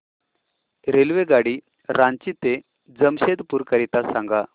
रेल्वेगाडी रांची ते जमशेदपूर करीता सांगा